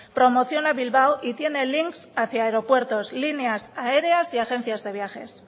promoción a bilbao y tiene links hacia aeropuertos líneas aéreas y agencias de viajes